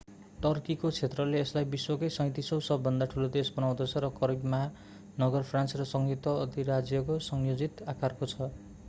टर्कीको क्षेत्रले यसलाई विश्वको 37औँ सबै भन्दा ठूलो देश बनाउँदछ र करिब महानगर फ्रान्स र संयुक्त अधिराज्यको संयोजित आकारको छ